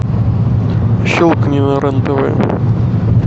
щелкни на рен тв